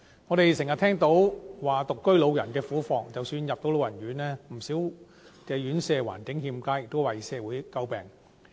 我們經常聽到獨居老人的苦況，即使能入住老人院，不少院舍的環境欠佳，亦為社會詬病。